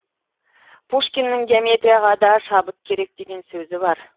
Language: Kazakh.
пушкиннің геометрияға да шабыт керек деген сөзі бар